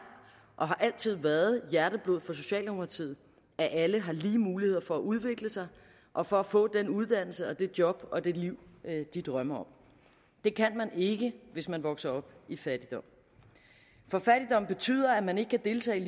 og har altid været hjerteblod for socialdemokratiet at alle har lige muligheder for at udvikle sig og for at få den uddannelse det job og det liv de drømmer om det kan man ikke hvis man vokser op i fattigdom betyder at man ikke kan deltage